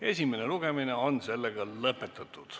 Esimene lugemine on lõpetatud.